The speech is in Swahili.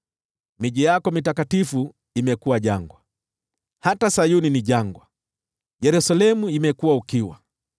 Miji yako mitakatifu imekuwa jangwa; hata Sayuni ni jangwa, Yerusalemu ni ukiwa.